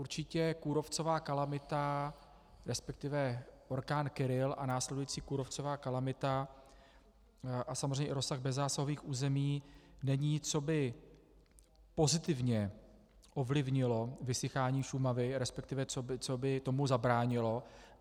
Určitě kůrovcová kalamita, respektive orkán Kyrill a následující kůrovcová kalamita a samozřejmě i rozsah bezzásahových území není, co by pozitivně ovlivnilo vysychání Šumavy, respektive co by tomu zabránilo.